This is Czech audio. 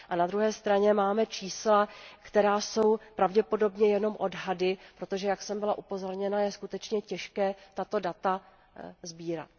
A na druhé straně máme čísla, která jsou pravděpodobně jenom odhady, protože, jak jsem byla upozorněna, je skutečně těžké tato data sbírat.